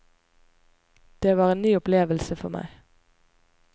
Det var en ny opplevelse for meg.